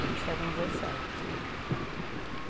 Ele saiu com dezessete.